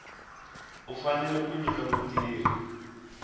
u fanele ku nyika mutirhi